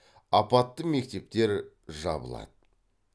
апатты мектептер жабылады